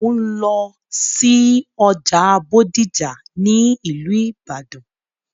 Mò ń lọ sí ọjà Bódìjà ní ìlú ìbàdàn.